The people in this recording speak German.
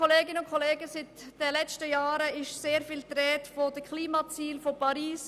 Während den letzten Jahren war sehr oft die Rede von Klimazielen und von Paris.